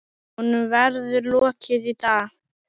Honum verður lokið í dag.